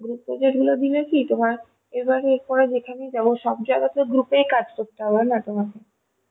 group project গুলো দিলে কি তোমার এবার যখানে যাব সবজায়গা তে group এই কাজ করতে হবে না তোমাকে